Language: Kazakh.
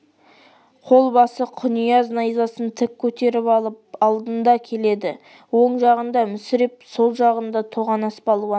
қолбасы құнияз найзасын тік көтеріп алып алдында келеді оң жағында мүсіреп сол жағында тоғанас балуан